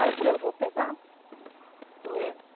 Aí eu falei, eu vou pegar, né.